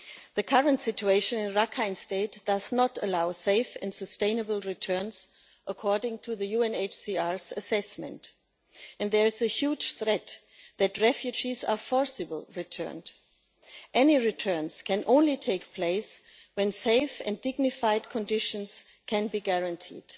The current situation in Rakhine State does not allow safe and sustainable returns, according to the UNHCR's assessment, and there is a huge threat that refugees may be forcibly returned. Any returns can only take place when safe and dignified conditions can be guaranteed.